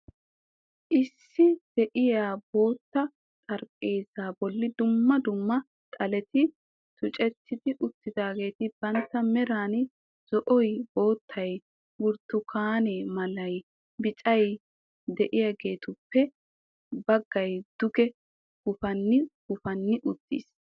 Issi de'iyaa bootta xaraphpheezaa bolli dumma dumma xaletti tucceeti utaageeti bantta meraan zo'oy, boottay, burtukaane malay, biccay de'iyaageettuppe bagay duge gufanni gufanni uttiis.